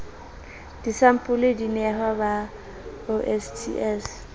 disampole di nehwa ba osts